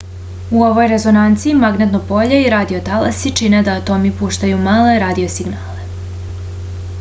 u ovoj rezonanci magnetno polje i radio talasi čine da atomi puštaju male radio signale